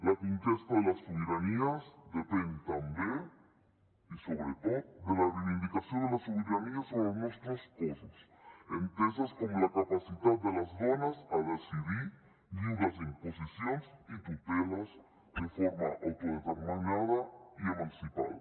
la conquesta de les sobiranies depèn també i sobretot de la reivindicació de la sobirania sobre els nostres cossos entesa com la capacitat de les dones a decidir lliures d’imposicions i tuteles de forma autodeterminada i emancipada